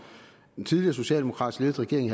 en tidligere socialdemokratisk ledet regering i